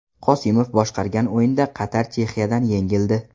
Qosimov boshqargan o‘yinda Qatar Chexiyadan yengildi.